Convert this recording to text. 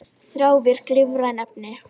Fleiri svör um menn, apa og þróunarsöguna: